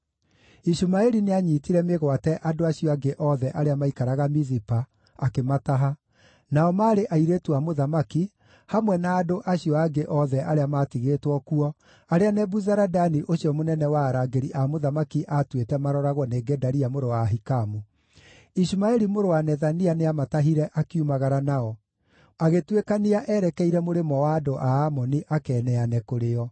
Ishumaeli nĩanyiitire mĩgwate andũ acio angĩ othe arĩa maikaraga Mizipa, akĩmataha: nao maarĩ airĩtu a mũthamaki, hamwe na andũ acio angĩ othe arĩa maatigĩtwo kuo, arĩa Nebuzaradani ũcio mũnene wa arangĩri a mũthamaki aatuĩte maroragwo nĩ Gedalia mũrũ wa Ahikamu. Ishumaeli mũrũ wa Nethania nĩamatahire akiumagara nao, agĩtuĩkania erekeire mũrĩmo wa andũ a Amoni akeeneane kũrĩ o.